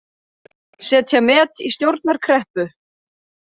Setja met í stjórnarkreppu